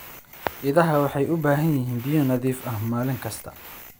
Idaha waxay u baahan yihiin biyo nadiif ah maalin kasta.